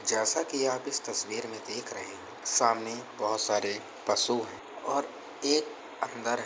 जैसा की आप इस तस्वीर में देख रहे हैं। सामने बहुत सारे पशु हैं और एक अन्दर है।